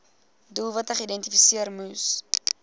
doelwitte geïdentifiseer moes